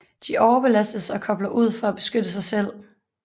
De overbelastes og kobler ud for at beskytte sig selv